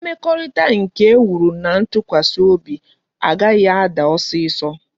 Mmekorita nke e wuru na ntukwasi obi a gaghi a daa osiso